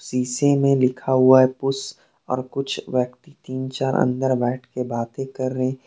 सीसे में लिखा हुआ है कुछ और कुछ व्यक्ति तीन चार अंदर बैठ के बातें कर रहे हैं।